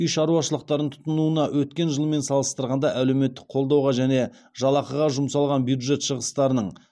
үй шаруашылықтарын тұтынуына өткен жылмен салыстырғанда әлеуметтік қолдауға және жалақыға жұмсалған бюджет шығыстарының